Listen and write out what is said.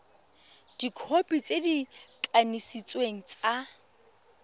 dikhopi tse di kanisitsweng tsa